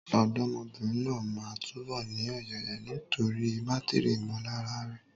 Ọ̀dọ́mọbìnrin náà máa túbọ̀ ní ọ̀yàyà nítorí bátìrì ìmọ̀lára rẹ̀.